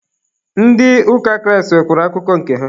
Ndị ụka Kraịst nwekwara akụkọ nke ha.